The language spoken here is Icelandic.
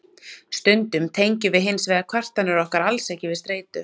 Stundum tengjum við hins vegar kvartanir okkar alls ekki við streitu.